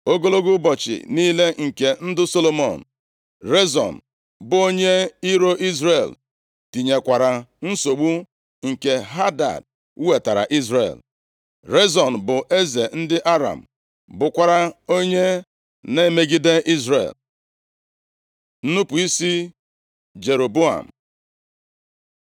Ogologo ụbọchị niile nke ndụ Solomọn, Rezon bụ onye iro Izrel, tinyekwara nsogbu nke Hadad wetaara Izrel. Rezon bụ eze ndị Aram, bụrụkwa onye na-emegide Izrel. Nnupu isi Jeroboam